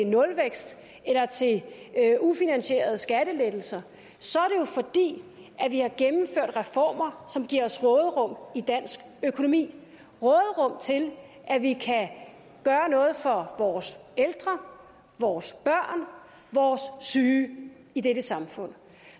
nulvækst eller til ufinansierede skattelettelser så er det jo vi har gennemført reformer som giver os råderum i dansk økonomi råderum til at vi kan gøre noget for vores ældre vores børn vores syge i dette samfund